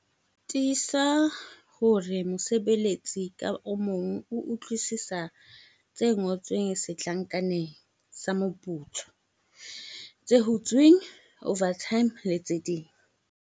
Tiisa hore mosebeletsi ka mong o utlwisisa tse ngotsweng setlankaneng sa moputso - tse hutsweng, overtime, le tse ding.